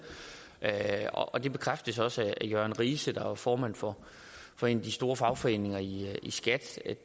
og det bekræftes også af jørn rise der er formand for for en af de store fagforeninger i skat